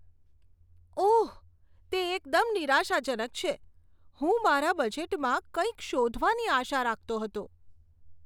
ઓહ, તે એકદમ નિરાશાજનક છે. હું મારા બજેટમાં કંઈક શોધવાની આશા રાખતો હતો.